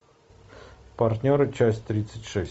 партнеры часть тридцать шесть